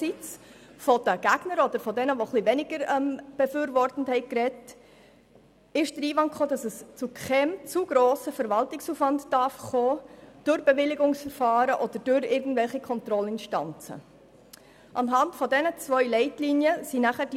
Von den Gegnern oder von denjenigen, die etwas weniger für den Vorstoss waren, kam der Einwand, dass es aufgrund der Bewilligungsverfahren oder irgendwelcher Kontrollinstanzen zu keinem grossen Verwaltungsaufwand kommen dürfe.